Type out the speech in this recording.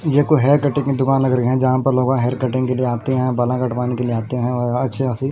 यह कोई hair cutting की दुकान लग रहे हैं जहां पर लोगों हेयर कटिंग के लिए आते हैं बाला कटवाने के लिए आते हैं अच्छे आसी--